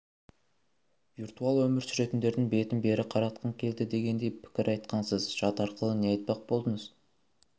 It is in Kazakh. виртуал өмір сүретіндердің бетін бері қаратқым келді дегендей пікір айтқансыз жат арқылы не айтпақ болдыңыз